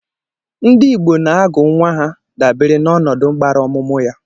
Ndị Igbo na-agu nwa aha dabere na ọnọdụ gbara ọmụmụ ya.